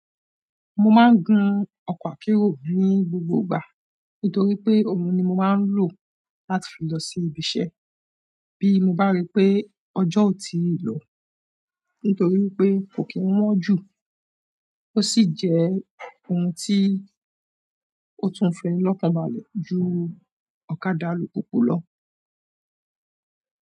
Mo máa ń gun ọkọ̀ akérò ní gbogbo ìgbà nítorí pé òhun ni mo máa ń lò láti fi lọ sí ibiṣẹ́ bí mo bá rí pé ọjọ́ ò tí ì lọ nítorí pé kò kí ń wọ́n jù, ó sì jẹ́ ohun tí ó tún fẹni lọ́kàn balẹ̀ ju ọ̀kadà alùpùpù lọ.